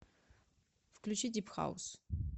включи дип хаус